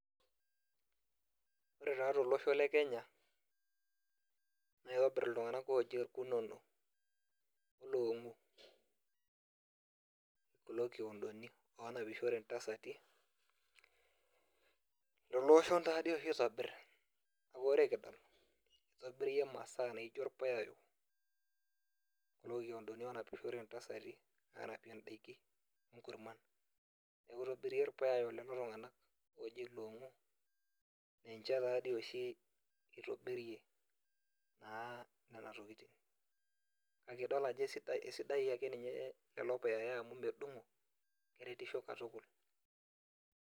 Ore taa tolosho lee Kenya naa kitobir iltung'ana looji irkunoni kulo kiodoni onapishore ntasati Lolo oshon oshi oitobirita neeku ore kidol kitobira masaa naijio irpuyayo Leo kiodoni onapie entasati anapie edaiki onkurman neeku kitobiri iropuyayo lelo tung'ana oji longu ninche taadoi oshi etobirie Nena tokitin kake edol ake ninye Ajo esidain lelo puyayo amu medungo keretisho katukul